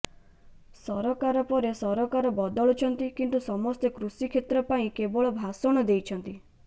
ସରକାର ପରେ ସରକାର ବଦଳିଛନ୍ତି କିନ୍ତୁ ସମସ୍ତେ କୃଷି କ୍ଷେତ୍ର ପାଇଁ କେବଳ ଭାଷଣ ଦେଇଛନ୍ତି